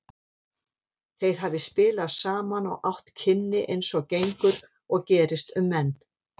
Þeir hafi spilað saman og átt kynni eins og gengur og gerist um menn.